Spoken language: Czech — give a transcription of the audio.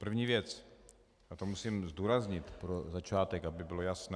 První věc a to musím zdůraznit pro začátek, aby bylo jasné.